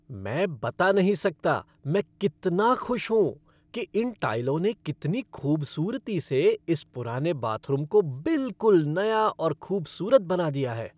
मैं बता नहीं सकता मैं कितना खुश हूँ कि इन टाइलों ने कितनी खूबसूरती से इस पुराने बाथरूम को बिलकुल नया और खूबसूरत बना दिया है।